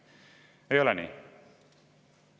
Ei ole nii?